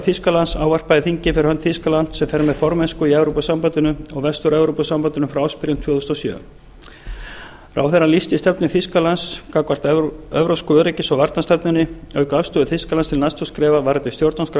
þýskalands ávarpaði þingið fyrir hönd þýskalands sem fer með formennsku í evrópusambandinu og vestur evrópusambandinu frá ársbyrjun tvö þúsund og sjö ráðherrann lýsti stefnu þýskalands gagnvart evrópska öryggis og varnarstefnunni auk afstöðu þýskalands til nato skrefa varðandi stjórnarskrá